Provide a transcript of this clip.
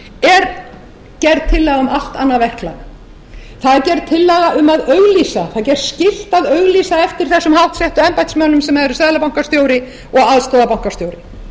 er gerð tillaga um allt annað verklag það er gerð tillaga um að auglýsa það er gert skylt að auglýsa eftir þessum háttsettu embættismönnum sem eru seðlabankastjóri og aðstoðarbankastjóri